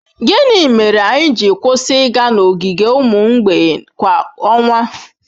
Gịnị mere anyị ji kwụsị ịga n'ogige ụmụ mgbei kwa ọnwa?